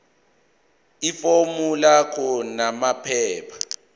ifomu lakho namaphepha